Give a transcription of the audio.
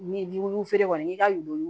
Ni bulu feere kɔni n'i ka du